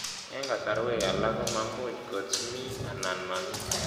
Eng' kasarwek alak komuch kots mi anan mamii